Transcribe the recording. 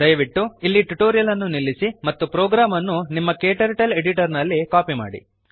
ದಯವಿಟ್ಟು ಇಲ್ಲಿ ಟ್ಯುಟೋರಿಯಲ್ ಅನ್ನು ನಿಲ್ಲಿಸಿ ಮತ್ತು ಪ್ರೋಗ್ರಾಮ್ ಅನ್ನು ನಿಮ್ಮ ಕ್ಟರ್ಟಲ್ ಎಡಿಟರ್ ನಲ್ಲಿ ಕಾಪಿ ಮಾಡಿ